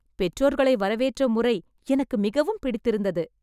பெற்றோர்களை வரவேற்ற முறை எனக்கு மிகவும் பிடித்து இருந்தது